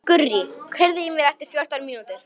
Gurrí, heyrðu í mér eftir fjórar mínútur.